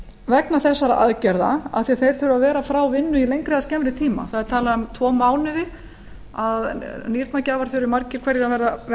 vegna þessara aðgerða af því að þeir þurfa að vera frá vinnu í lengri eða skemmri tíma það er talað um tvo mánuði að nýrnagjafar þurfi margir hverjir að vera